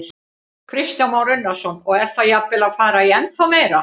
Kristján Már Unnarsson: Og er það jafnvel að fara í ennþá meira?